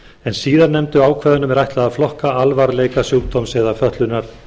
en síðarnefndu ákvæðunum er ætlað að flokka alvarleika sjúkdóms eða fötlunar